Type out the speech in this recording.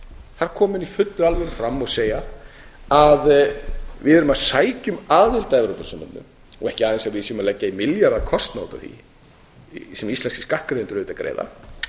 þar koma menn í fullri alvöru fram og segja að við erum að sækja um aðild að evrópusambandinu og ekki aðeins að við séum að leggja í milljarða kostnað út af því sem íslenskir skattgreiðendur auðvitað greiða